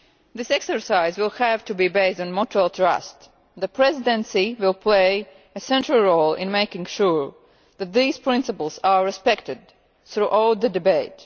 This exercise will have to be based on mutual trust. The Presidency will play a central role in making sure that these principles are respected throughout the debate.